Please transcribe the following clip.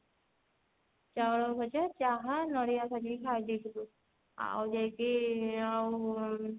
ଚାଉଳ ଭଜା ଚାହା ନଡିଆ ଭାଜିକି ଖାଇଦେଇଥିଲୁ ଆଉ ଯାଇକି ଆଉ